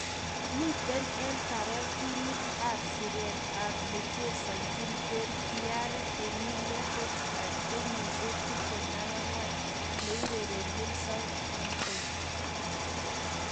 miten en taret timit ap en siret ap nechesonjin kwen Pierre-Emile Hojbjerg, kenyisiek 24 neurerenjin souhhampton